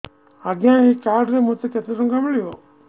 ଆଜ୍ଞା ଏଇ କାର୍ଡ ରେ ମୋତେ କେତେ ଟଙ୍କା ମିଳିବ